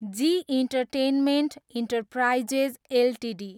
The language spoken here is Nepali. G entertainment enterprises Ltd